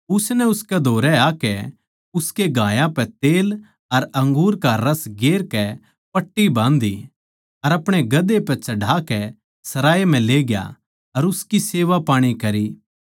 उसनै उसकै धोरै आकै उसके घायाँ पै तेल अर अंगूर का रस गेर कै पट्टी बाँध्धी अपणे गधे पै चढ़ाकै सराय म्ह लेग्या अर उसकी सेवापाणी करी